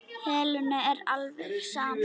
Helenu er alveg sama.